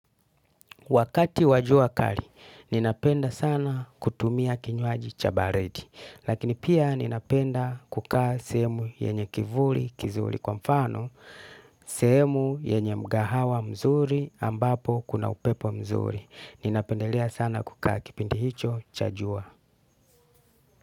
Wakati wa jua kali ninapenda sana kutumia kinywaji cha baridi lakini pia napenda kukaa sehemu yenye kivuli kizuri kwa mfano sehemu yenye mgahawa mzuri ambapo kuna upepo mzuri. Ninapendelea sana kukaa kipindi hicho cha jua.